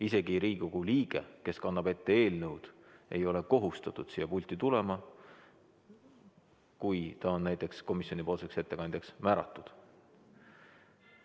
Isegi Riigikogu liige, kes kannab ette eelnõu, ei ole kohustatud siia pulti tulema, kui ta on näiteks komisjoni ettekandjaks määratud.